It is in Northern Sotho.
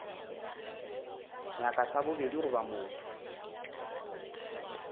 nyaka sa bobedi goba motho